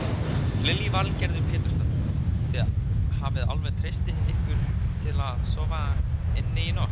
Lillý Valgerður Pétursdóttir: Þið hafið alveg treysti ykkur til þess að sofa inni í nótt?